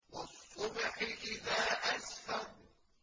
وَالصُّبْحِ إِذَا أَسْفَرَ